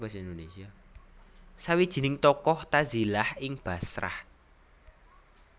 Sawijining tokoh tazilah ing Bashrah